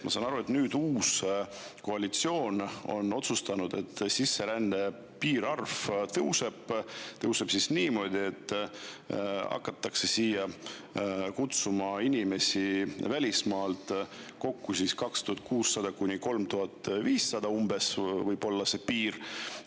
Ma saan aru, et uus koalitsioon on otsustanud, et sisserände piirarv tõuseb, tõuseb niimoodi, et siia hakatakse kutsuma inimesi välismaalt – kokku võib see piirarv olla umbes 2600–3500.